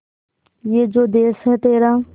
ये जो देस है तेरा